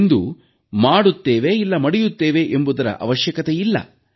ಇಂದು ಮಾಡುತ್ತೇವೆ ಇಲ್ಲವೆ ಮಡಿಯುತ್ತೇವೆ ಎಂಬುದರ ಅವಶ್ಯಕತೆಯಿಲ್ಲ